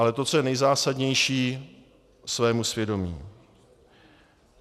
Ale to, co je nejzásadnější, svému svědomí.